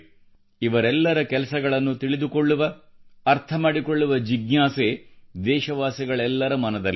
ಇವರೆಲ್ಲರ ಕೆಲಸಗಳನ್ನು ತಿಳಿದುಕೊಳ್ಳುವ ಅರ್ಥ ಮಾಡಿಕೊಳ್ಳುವ ಜಿಜ್ಞಾಸೆ ದೇಶವಾಸಿಗಳೆಲ್ಲರ ಮನದಲ್ಲಿದೆ